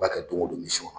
B'a kɛ don go don misi kɔnɔ